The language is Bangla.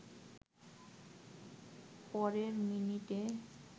পরের মিনিটে